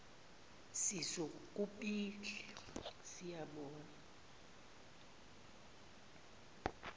sisu kubhili siyobona